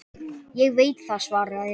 Ég veit það, svaraði hinn.